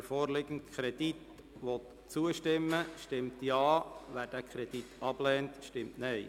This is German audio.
Wer dem vorliegenden Kredit zustimmen will, stimmt Ja, wer diesen ablehnt, stimmt Nein.